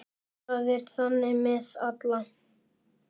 Það er þannig með alla.